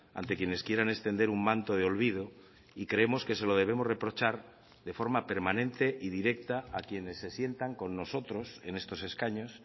ante quienes quieren extender un manto de olvido y creemos que se lo debemos reprochar de forma permanente y directa a quienes se sientan con nosotros en estos escaños